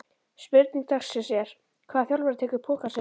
Spurning dagsins er: Hvaða þjálfari tekur pokann sinn fyrstur?